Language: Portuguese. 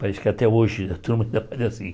Parece que até hoje a turma ainda faz assim.